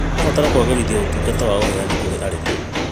Tũrabatara kũagĩrithia ũtungata wa ũheani kũrĩ arĩmi.